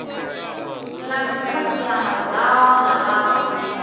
na dzikhasiama dzao na vhawe